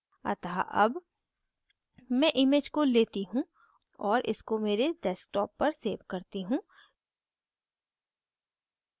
अतः अब मैं image को लेती हूँ और इसको मेरे desktop पर so करती हूँ